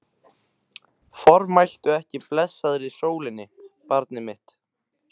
Formæltu ekki blessaðri sólinni, barnið mitt.